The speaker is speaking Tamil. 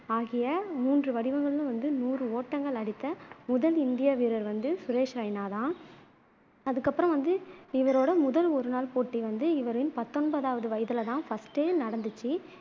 ஆகிய மூன்று வடிவங்களிலும் வந்து நூறு ஓட்டங்கள் அடித்த முதல் இந்திய வீரர் வந்து சுரேஷ் ரெய்னா தான் அதுக்கப்பறம் வந்து இவரோட முதல் ஒருநாள் போட்டி இவரின் பத்தொன்பதாவது வயதுல தான் first உ நடந்துச்சு